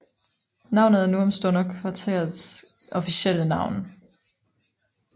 Navnet er nu om stunder kvarterets officielle navn